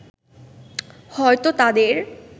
হয়তো তাদের